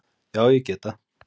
Já ég get það.